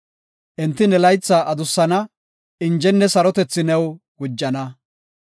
Enti ne laytha adussana; injenne sarotethi new gujana.